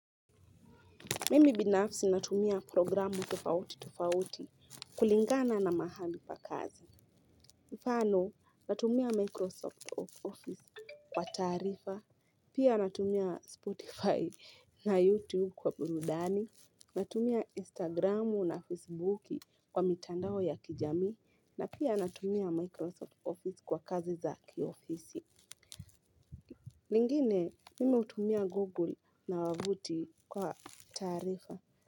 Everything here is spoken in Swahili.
Mimi binafsi natumia programu tofauti tofauti kulingana na mahali pa kazi. Mfano natumia Microsoft Office kwa taarifa, pia natumia Spotify na YouTube kwa burudani, natumia Instagram na Facebook kwa mitandao ya kijamii, na pia natumia Microsoft Office kwa kazi za kiofisi. Lingine, mimi hutumia Google na wavuti kwa taarifa.